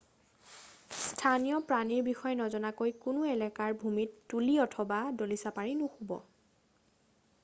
স্থানীয় প্ৰাণীৰ বিষয়ে নজনাকৈ কোনো এলেকাৰ ভূমিত তুলী অথবা দলিচা পাৰি নুশুব